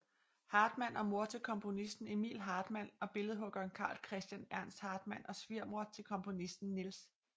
Hartmann og mor til komponisten Emil Hartmann og billedhuggeren Carl Christian Ernst Hartmann og svigermor til komponisterne Niels W